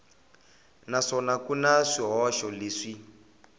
naswona ku na swihoxo leswi